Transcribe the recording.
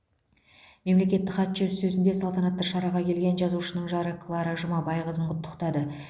мемлекеттік хатшы өз сөзінде салтанатты шараға келген жазушының жары клара жұмабайқызын құттықтады